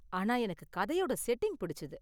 ஆனா எனக்கு கதையோட செட்டிங் பிடிச்சுது.